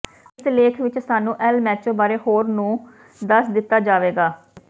ਇਸ ਲੇਖ ਵਿਚ ਸਾਨੂੰ ਏਲ ਮੈਚੋ ਬਾਰੇ ਹੋਰ ਨੂੰ ਦੱਸ ਦਿੱਤਾ ਜਾਵੇਗਾ